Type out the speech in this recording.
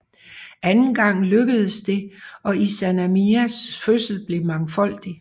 Anden gang lykkedes det og Izanamis fødsel blev mangfoldig